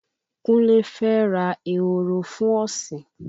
Kunle fẹ́ ra ehoro fun ọ̀sìn